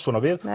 svona við